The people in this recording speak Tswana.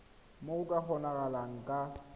moo go ka kgonagalang ka